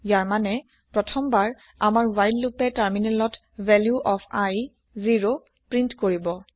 ইয়াৰ মানে প্ৰথম বাৰ আমাৰ হোৱাইল লোপে তাৰমিনেলত ভেলিউ অফ i 0 প্ৰিন্ট কৰিব